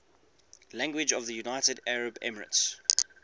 languages of the united arab emirates